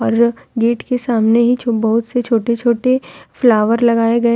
gate के सामने ही तुम बहुत से छोटे छोटे फ्लावर लगाए गए--